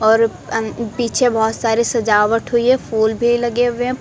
और अं पीछे बहोत सारे सजावट हुई है फूल भी लगे हुए हैं।